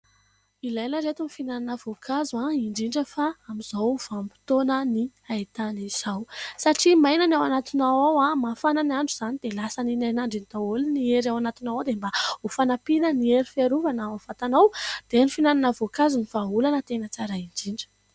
Ilaina ireto ny fihinanana voankazo indrindra fa amin'izao andro haintany izao ; satria maina ny ao anatinao ao dia mafana ny andro izany dia lasan'iny hainandro iny daholo ny hery ao anatinao ao ; dia mba ho fanampiana hery fiarovana ao amin'ny vatana dia ny fihinanana voankazo no vahaolana tsara indrindra.